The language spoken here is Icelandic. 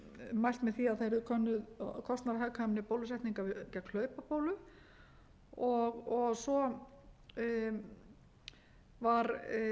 mælt með því að það yrði könnuð kostnaðarhagkvæmni bólusetninga gegn hlaupabólu og svo var lagt til að